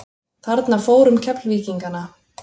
Þarna fór um Keflvíkingana.